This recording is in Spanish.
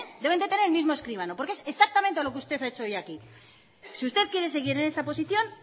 deben de tener el mismo escribano porque es exactamente lo que usted ha hecho hoy aquí si usted quiere seguir en esa posición